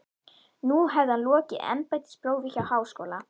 Nú hefði hann lokið embættisprófi frá Háskóla